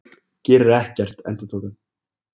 Gerir ekkert, endurtók hann.